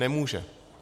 Nemůže.